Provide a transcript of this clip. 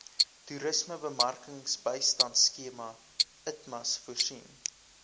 toerismebemarkingsbystandskema itmas voorsien